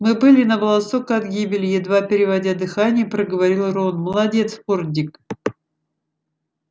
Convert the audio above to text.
мы были на волосок от гибели едва переводя дыхание проговорил рон молодец фордик